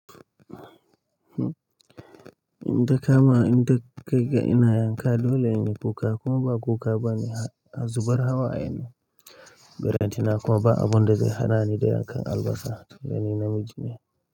Inta kamawa, inta kaiga ina yanka dole in yi kuka kuma ba kuka bane, zubar hawaye ne ballentana kuma ba abun da zai hana ni dayankan albasa, tun da ni namiji ne.